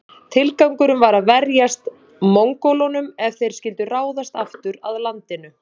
Tilgangurinn var að verjast Mongólunum ef þeir skyldu ráðast aftur að landinu.